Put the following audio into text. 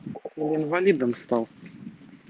он инвалидом стал